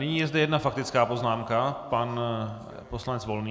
Nyní je zde jedna faktická poznámka, pan poslanec Volný.